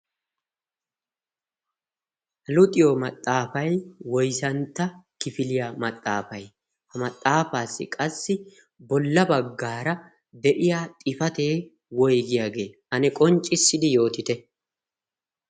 haluxiyo maxaafai woizantta kifiliyaa maxaafai ha maxaafaassi qassi bolla baggaara de7iya xifatee woigiyaagee ane qonccissidi yootite